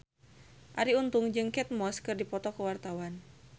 Arie Untung jeung Kate Moss keur dipoto ku wartawan